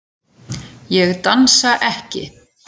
Ég dansa ekki.